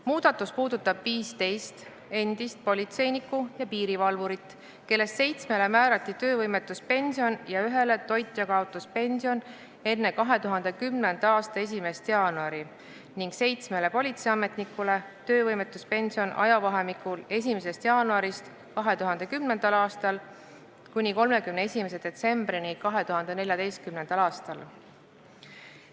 Muudatus puudutab 15 endist politseinikku ja piirivalvurit, kellest seitsmele määrati töövõimetuspension ja ühele toitjakaotuspension enne 2010. aasta 1. jaanuari ning seitsmele politseiametnikule töövõimetuspension ajavahemikul 1. jaanuarist 2010. aastal kuni 31. detsembrini 2014. aastal.